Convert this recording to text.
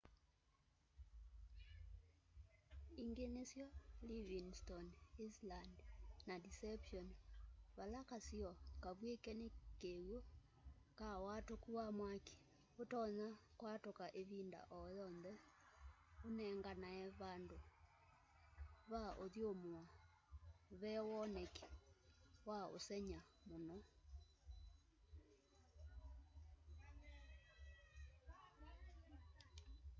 ingĩ nĩsyo livingstone island na deception vala kasiĩo kavwĩke nĩ kĩw'ũ ka watũku wa mwaki ũtonya kwatũka ĩvinda o yonthe ũnenganae vandũ va ũthũmũa ve woneki wa'ũsengy'a mũno